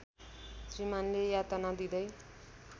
श्रीमान्‌ले यातना दिँदै